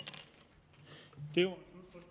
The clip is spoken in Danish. gælder